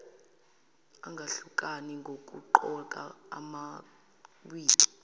angahlukani nokugqoka amawigi